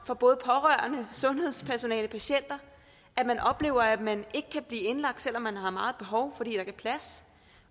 fra både pårørende sundhedspersonale og patienter at man oplever at man ikke kan blive indlagt selv om man har meget behov er plads